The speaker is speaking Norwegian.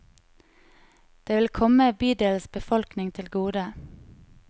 Det vil komme bydelens befolkning til gode.